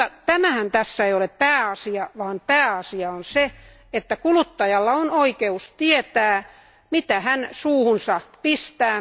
Mutta tämähän tässä ei ole pääasia, vaan pääasia on se, että kuluttajalla on oikeus tietää, mitä hän suuhunsa pistää.